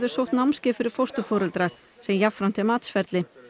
sótt námskeið fyrir fósturforeldra sem jafnframt er matsferli